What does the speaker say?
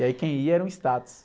E aí quem ia era um status.